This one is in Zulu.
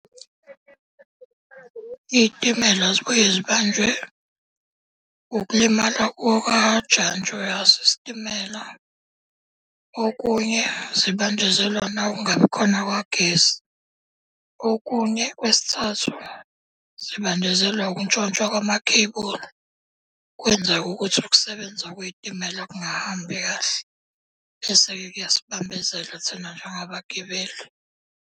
Iy'timela zibuye zibanjwe ukulimala kukajantshi waso isitimela. Okunye zibanjezelwa nawukungabikhona kukagesi. Okunye kwesithathu, zibanjezelwa ukuntshontshwa kwamakhebula. Kwenza ukuthi ukusebenza kwey'timella kungahambi kahle. Bese-ke kuyasibambezela thina njengabagibeli.